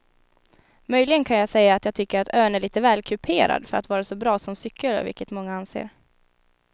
Möjligen kan jag säga att jag tycker att ön är lite väl kuperad för att vara så bra som cykelö vilket många anser.